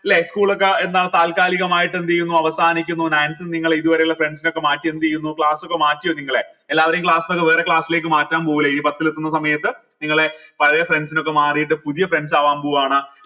ല്ലെ school ഒക്കെ എന്താണ് താൽക്കാലികമായിട്ട് എന്തെയുന്നു അവസാനിക്കുന്നു ninth നിന്ന് നിങ്ങൾ ഇത് വരെ ഉള്ള friends നെ ഒക്കെ മാറ്റി എന്തെയ്യുന്നു class ഒക്കെ മാറ്റിയോ നിങ്ങളെ എല്ലാവരെയും class ന്നൊക്കെ വേറെ class ലേക്ക് മാറ്റാൻ പോവല്ലേ ഈ പത്തിൽ എത്തുന്ന സമയത്ത് നിങ്ങളെ പഴയെ friends നൊക്കെ മാറീട്ട് പുതിയ friends ആവാൻ പോവാണ്